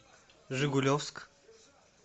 жигулевск